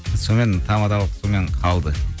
сонымен тамадалық сонымен қалды